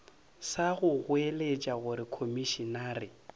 sa go goeletša gore komišenare